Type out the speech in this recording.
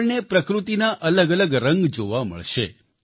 આપણને પ્રકૃતિના અલગઅલગ રંગ જોવા મળશે